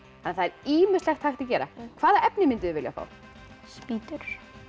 ýmislegt hægt að gera hvaða efni mynduð þið vilja fá spýtur